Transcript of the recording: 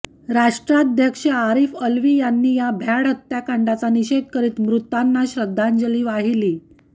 राष्ट्राध्यक्ष आरिफ अलवी यांनी या भ्याड हत्याकांडाचा निषेध करीत मृतांना श्रद्धांजली वाहिली